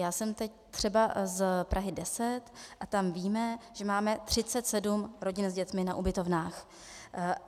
Já jsem teď třeba z Prahy 10 a tam víme, že máme 37 rodin s dětmi na ubytovnách.